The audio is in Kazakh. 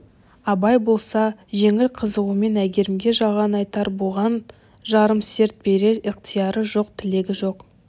абай болса жеңіл қызығумен әйгерімге жалған айтар бұған жарым серт берер ықтияры жоқ тілегі жоқ